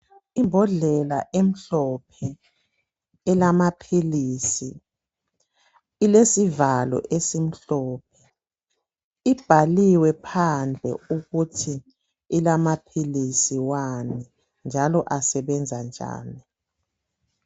Imbodlela emhlophe elamaphilisi ilesivalo esimhlophe ibhaliwe phandle ukuthi ilamaphilisi wani njalo asebenza njani.